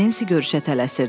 Nensi görüşə tələsirdi.